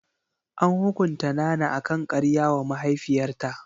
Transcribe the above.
An hukunta Nana akan karya wa mahaifiyarta.